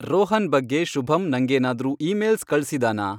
ರೋಹನ್ ಬಗ್ಗೆ ಶುಭಂ ನಂಗೇನಾದ್ರೂ ಈಮೇಲ್ಸ್ ಕಳ್ಸಿದಾನಾ